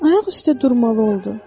Ayaq üstə durmalı oldu.